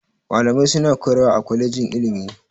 Malamai suna koyarwa a kwalejin ilimi.